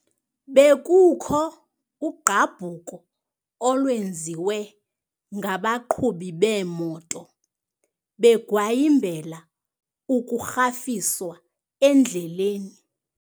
Bekukho ugqabhuko olwenziwe ngabaqhubi beemoto begwayimbela ukurhafiswa endleleni.